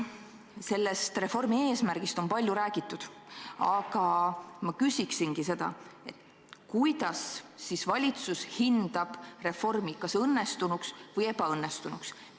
Selle reformi eesmärgist on palju räägitud, aga kuidas valitsus hindab, kas reform on õnnestunud või ebaõnnestunud?